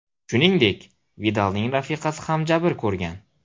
Shuningdek, Vidalning rafiqasi ham jabr ko‘rgan.